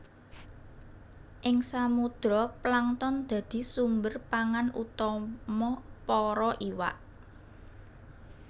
Ing samudra plankton dadi sumber pangan utama para iwak